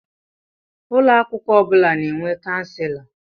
Ụlọ akwụkwọ ọ bụla na-enwe Kanselọ.